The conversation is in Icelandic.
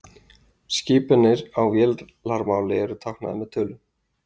Skipanir á vélarmáli eru táknaðar með tölum.